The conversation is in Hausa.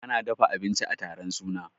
an dafa abinci a taron suna